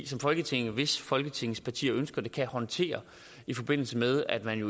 som folketinget hvis folketingets partier ønsker det kan håndtere i forbindelse med at man